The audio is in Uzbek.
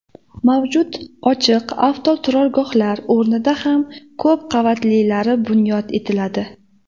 Mavjud ochiq avtoturargohlar o‘rnida ham ko‘p qavatlilari bunyod etiladi.